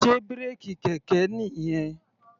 Sé bírèkì kẹ̀kẹ́ nìyẹn?